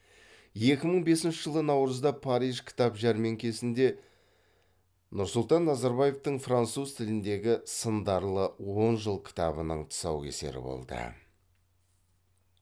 екі мың бесінші жылы наурызда париж кітап жәрмеңкесінде нұрсұлтан назарбаевтың француз тіліндегі сындарлы он жыл кітабының тұсаукесері болды